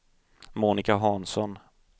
Monica Hansson